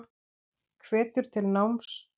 Hvetur til náms.